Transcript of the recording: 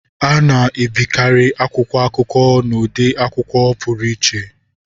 A na-ebikarị akwụkwọ akụkọ n'ụdị akwụkwọ pụrụ iche.